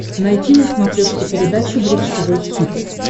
найти на смотрешке передачу бридж тв хитс